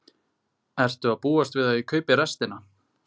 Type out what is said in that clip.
Ertu að búast við að ég kaupi restina?